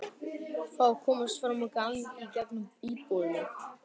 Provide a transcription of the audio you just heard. Fá að komast fram á gang í gegnum íbúðina.